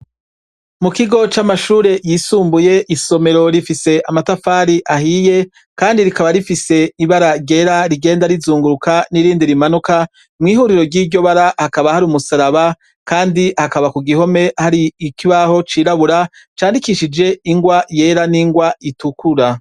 Mu kigo c'amashure yisumbuye, isomero rifise amatafari ahiye Kandi rikaba rifise ibara ryera rigenda rizunguruka n'irindi rimanuka, mwihuriro ryiryo bara bakaba hari umusaraba Kandi hakaba kugihome hari ikibaho cirabura candikishije ingwa yera n'ingwa itukura.